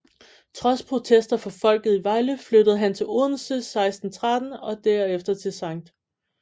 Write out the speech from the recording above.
Trods protester fra folket i Vejle flyttede han til Odense 1613 og derefter til Skt